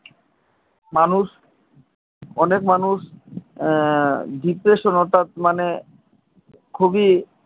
মানুষ অনেক মানুষ depression অথাৎ মানে খুবই